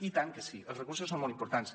i tant que sí els recursos són molt importants